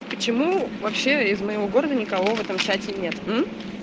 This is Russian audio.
почему вообще из моего города никого в этом чате нет